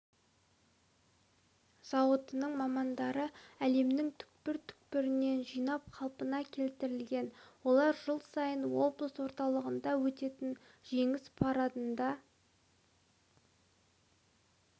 зауытының мамандары әлемнің түкпір-түкпірінен жинап қалпына келтірген олар жыл сайын облыс орталығында өтетін жеңіс парадында